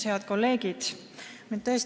Head kolleegid!